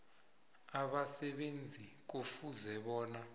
abasebenzi kufuze bona